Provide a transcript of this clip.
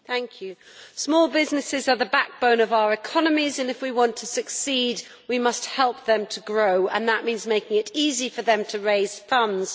Madam President, small businesses are the backbone of our economies and if we want to succeed we must help them to grow, and that means making it easy for them to raise funds.